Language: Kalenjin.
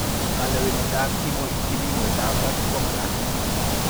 Kalewenetab kipimoitab barak komagat